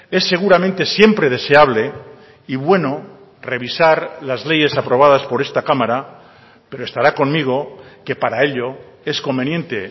es seguramente siempre deseable y bueno revisar las leyes aprobadas por esta cámara pero estará conmigo que para ello es conveniente